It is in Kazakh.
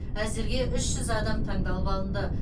әзірге үш жүз адам таңдалып алынды